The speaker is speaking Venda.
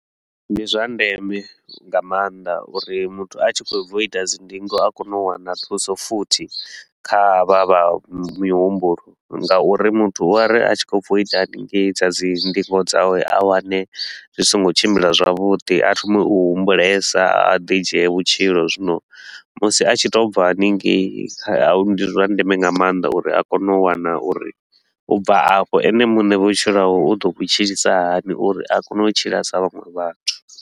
Ndi zwa ndeme nga maanḓa uri muthu a tshi khou bva u ita dzi ndingo a kone u wana thuso futhi, kha ha vha vha mihumbulo ngauri muthu u a ri a tshi khou bva u ita hanengei dza dzi ndingo dzawe a wane zwi so ngo tshimbila zwavhuḓi, a thome u humbulesa, a ḓi dzhie vhutshilo. Zwino musi a tshi to u bva hanengei, ndi zwa ndeme nga maanḓa uri a kone u wana uri u bva afho ene muṋe vhutshilo hawe u ḓo vhu tshilisa hani uri a kone u tshila sa vhaṅwe vhathu.